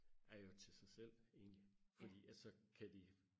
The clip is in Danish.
er jo til sig selv egentlig fordi at så kan de